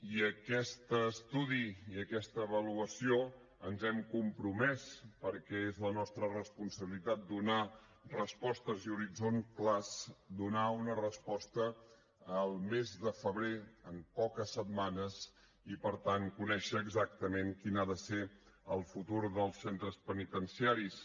i a aquest estudi i aquesta avaluació ens hem compromès perquè és la nostra responsabilitat donar respostes i horitzons clars donar una resposta el mes de febrer en poques setmanes i per tant conèixer exactament quin ha de ser el futur dels centres penitenciaris